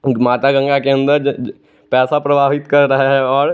माता गंगा के अंदर ज ज पैसा प्रवाहित कर रहा हैं और--